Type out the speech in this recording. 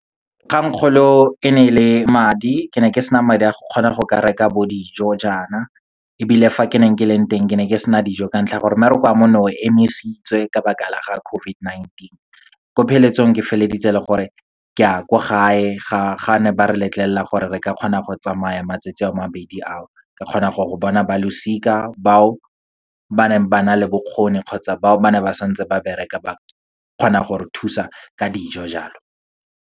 Kgangkgolo e ne e le madi, ke ne ke sena madi a go kgona go ka reka bo dijo jaana, ebile fa ke neng ke leng teng ke ne ke sena dijo ka ntlha ya gore mmereko wa me ne o emisitswe ka baka la ga COVID-19. Ko pheletsong, ke feleleditse e le gore ke ya kwa gae ga ba ne ba re letlelela gore re ka kgona go tsamaya matsatsi a mabedi a o. Ka kgona gwa go bona ba losika, bao ba neng ba na le bokgoni kgotsa bao ba ne ba santse ba bereka ba kgona go re thusa ka dijo, jalo.